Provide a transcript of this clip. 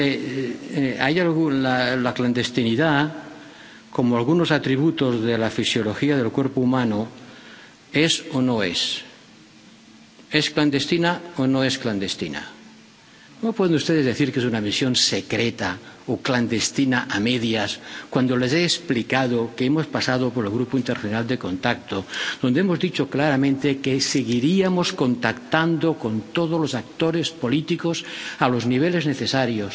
Miren, la clandestinidad, como algunos atributos de la fisiología del cuerpo humano, es o no es es clandestina o no es clandestina. No pueden ustedes decir que es una misión secreta o clandestina a medias, cuando les he explicado que hemos pasado por el Grupo Internacional de Contacto, donde hemos dicho claramente que seguiríamos contactando con todos los actores políticos a los niveles necesarios,